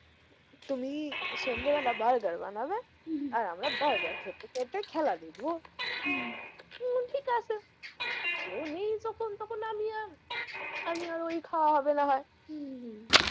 তুমি সন্ধে বেলা বার্গার বানাবে হম হম আর আমরা বার্গার খেতে খেতে খেলা দেখবো উহ হম ঠিক আছে কেউ নেই যখন তখন আমি আর আমি আর ওই খাওয়া হবে না হয় হম হম